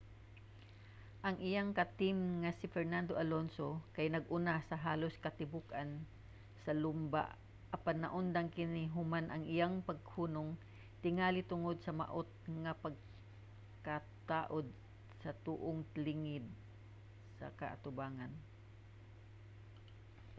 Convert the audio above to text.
ang iyang ka-team nga si fernando alonso kay nag-una sa halos katibuk-an sa lumba apan naundang kini human sa iyang paghunong tingali tungod sa maot nga pagkataud sa tuong ligid sa atubangan